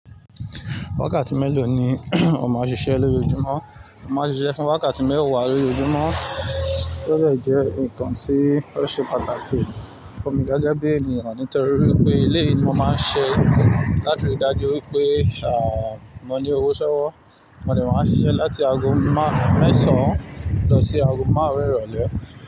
Wákàtí mélòó ni o máa ṣiṣẹ́ lójo júmọ́? Mo má n ṣiṣẹ́ fún wákàtí mẹ́wà lójo júmọ́, bóyá ìjẹ́ nǹkan tí ó ṣe pàtàkì fún mi gẹ́gẹ́ bí ènìyàn nítorí pé eléyi ni mo máa ń ṣe láti rí i dájú wípé à, mo ní owó ṣọwọ́. Mo de màá n ṣiṣẹ́ láti aago mẹ́sàn án lọ sí aago márùn-ún irole.